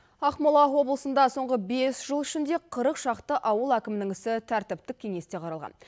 ақмола облысында соңғы бес жыл ішінде қырық шақты ауыл әкімінің ісі тәртіптік кеңесте қаралған